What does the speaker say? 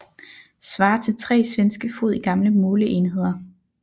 Svarer til tre svenske fod i gamle måleenheder